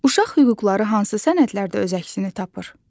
Uşaq hüquqları hansı sənədlərdə öz əksini tapır?